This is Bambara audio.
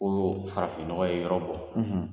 O farafinnɔgɔ ye yɔrɔ bɔ